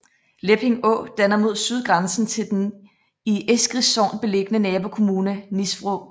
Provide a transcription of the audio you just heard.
Lepping Å danner mod syd grænsen til den i Eskris Sogn beliggende nabokommune Nisvrå